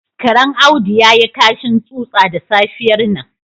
Karen Audu ya yi kashin tsutsa da safiyar nan.